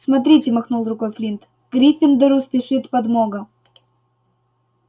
смотрите махнул рукой флинт к гриффиндору спешит подмога